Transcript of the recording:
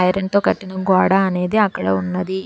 Iron తో కట్టిన గోడ అనేది అక్కడ ఉన్నది.